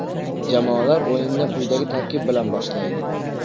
Jamoalar o‘yinni quyidagi tarkib bilan boshlaydi.